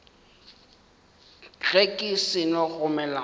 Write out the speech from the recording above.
ge ke seno gomela ka